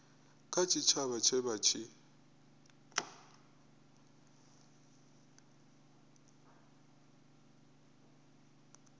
kha tshitshavha tshe vha tshi